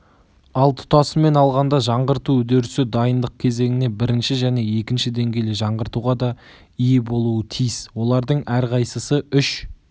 ал тұтасымен алғанда жаңғырту үдерісі дайындық кезеңіне бірінші және екінші деңгейлі жаңғыртуға да ие болуы тиіс олардың әрқайсысы үш